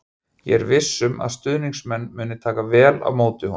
Ég er viss um að stuðningsmenn muni taka vel á móti honum.